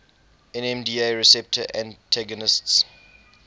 nmda receptor antagonists